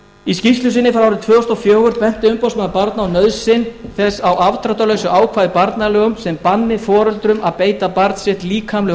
í skýrslu sinni frá tvö þúsund og fjögur benti umboðsmaður barna á nauðsyn á afdráttarlausu ákvæði í barnalögum sem banni foreldrum að beita barn sitt líkamlegu